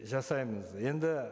жасаймыз енді